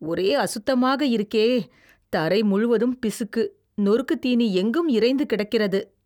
ஒரே அசுத்தமாக இருக்கே, தரை முழுவதும் பிசுக்கு, நொறுக்கு தீனி எங்கும் இரைந்து கிடக்கிறது